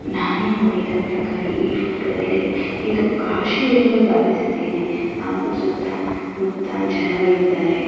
ನಾನು ನೋಡಿದ ಪ್ರಕಾರ ಈ ಫೋಟೋದಲ್ಲಿ ಇದು ಕಾಶಿ ಎಂದು ಭಾವಿಸುತ್ತೇನೆ ಹಾಗೂ ಸುತ್ತಮುತ್ತ ಜನಗಳಿದ್ದಾರೆ.